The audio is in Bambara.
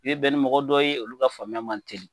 I bɛ bɛn ni mɔgɔ dɔ ye olu ka faamuya man teli